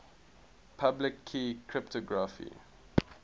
public key cryptography